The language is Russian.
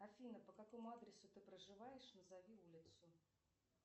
афина по какому адресу ты проживаешь назови улицу